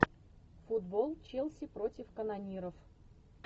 футбол челси против канониров